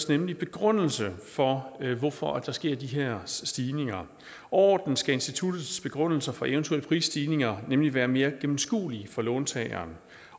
nemlig en begrundelse for for at der sker de her stigninger overordnet skal institutternes begrundelser for eventuelle prisstigninger nemlig være mere gennemskuelige for låntagerne